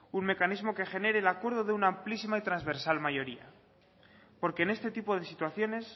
un mecanismo que genere el acuerdo de una amplísima y transversal mayoría porque en este tipo de situaciones